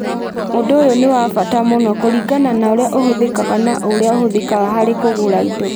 Ũndũ ũyũ nĩ wa bata mũno kũringana na ũrĩa ũhũthĩkaga na ũrĩa ũhũthĩkaga harĩ kũgũra indo.